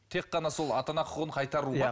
тек қана сол ата ана құқығын қайтару ма